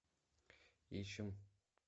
ищем